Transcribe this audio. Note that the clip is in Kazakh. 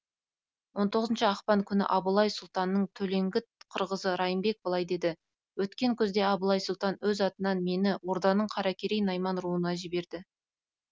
он оғызыншы ақпан күні абылай сұлтанның төлеңгіт қырғызы райымбек былай деді өткен күзде абылай сұлтан өз атынан мені орданың қаракерей найман руына жіберді